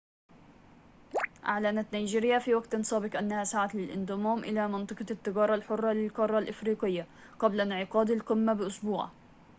أعلنت نيجيريا في وقت سابق أنها سعت للانضمام إلى منطقة التجارة الحرة للقارة الإفريقية قبل انعقاد القمة بأسبوع